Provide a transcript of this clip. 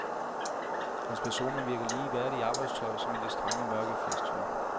Hans personer virker lige værdige i arbejdstøj som i det strenge, mørke festtøj.